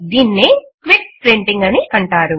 దీనినే quick printing అని అంటారు